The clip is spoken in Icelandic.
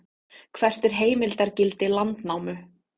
hvert er heimildargildi landnámu